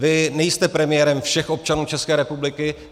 Vy nejste premiérem všech občanů České republiky.